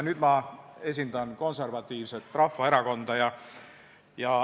Nüüd ma esindan Konservatiivset Rahvaerakonda.